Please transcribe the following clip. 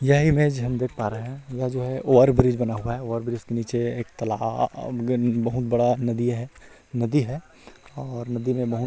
यह इमेज हम देख पा रहै है यह जो है ओवर ब्रिज बना हुआ है ओवर ब्रिज के नीचे एक तलाहा अब गन बहुत बड़ा नदी है नदी है और नदी में बहुत --